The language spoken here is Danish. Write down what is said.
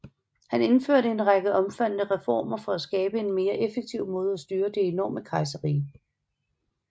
Han indførte en række omfattende reformer for at skabe en mere effektiv måde at styre det enorme kejserrige